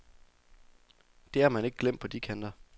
Det har man ikke glemt på de kanter.